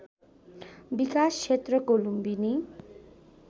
विकास क्षेत्रको लुम्बिनी